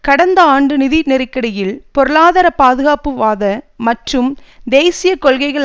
கடந்த ஆண்டு நிதி நெருக்கடியில் பொருளாதார பாதுகாப்பு வாத மற்றும் தேசிய கொள்கைகள்